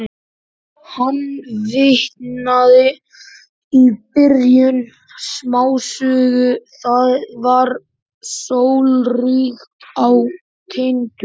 Hann vitnaði í byrjun smásögu: Það var sólríkt á Tindum.